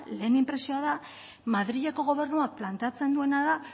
lehen inpresioa da madrileko gobernuak planteatzen duena da